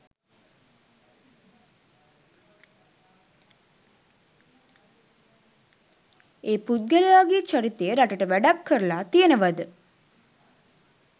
ඒ පුද්ගලයාගේ චරිතය රටට වැඩක් කරලා තියෙනවා ද?